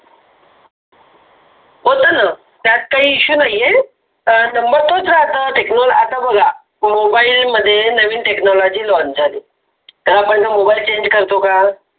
होते न त्यात काही issue नाही आहे. आता बघा mobile मध्ये नवीन Technology launch झाली तरी पण mobile change करतो का?